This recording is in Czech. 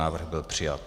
Návrh byl přijat.